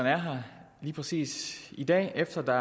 er her lige præcis i dag efter at der